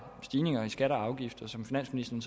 stigninger i skatter og afgifter som finansministeren